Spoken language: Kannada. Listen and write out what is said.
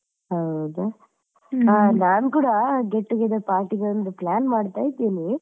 ಹೌದಾ, ಆ ನಾನ್ ಕೂಡ get together party ಗೆ ಒಂದು plan ಮಾಡ್ತಾ ಇದ್ದೇನೆ.